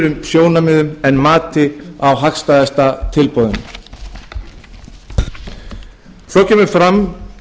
sjónarmiðum en mati á hagstæðasta tilboðinu svo kemur fram